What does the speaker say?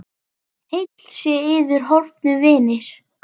Heill sé yður, horfnu vinir!